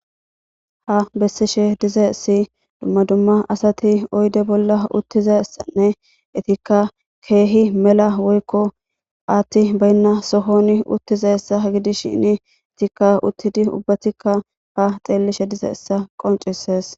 Ha beesishe dizayisi dumma dumma asati oyide bola utizayisanne etikka kehi mela hatheyi bayinna sohoni dizayissa gidishini hesatikka ubatikka xeliishshe dizayisa qoncisidesi